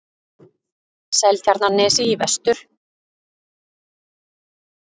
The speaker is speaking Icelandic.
Seltjarnarnesi í vestur.